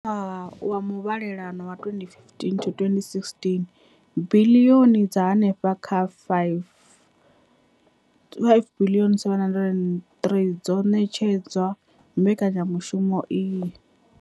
Kha ṅwaha wa muvhalelano wa 2015,16, biḽioni dza henefha kha R5 703 dzo ṋetshedzwa mbekanya mushumo iyi.